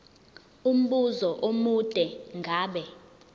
umbuzo omude ngabe